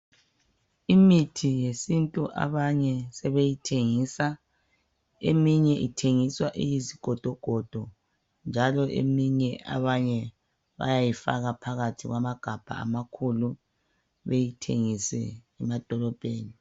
Imithi yesintu abanye sebeyithengisa. Eminye ithengiswa iyizigodogodo njalo eminye abanye bayayifaka phakathi kwamagabaha amakhulu beyithengise emadolobheni.